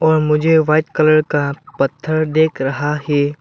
और मुझे white colour का पत्थर देख रहा है।